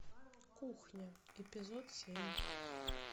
кухня эпизод семь